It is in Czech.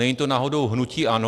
Není to náhodou hnutí ANO?